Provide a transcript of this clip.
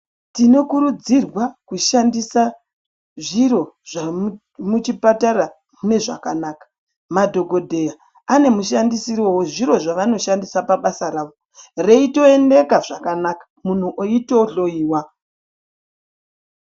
Tinokurudzirwa kushandisa zviro zvamuchipatara mune zvakanaka. Madhokodheya ane mushandisiro wezviro zvavanoshandisa pabasa ravo, reitoendeka zvakanaka, muntu oitohloiwa.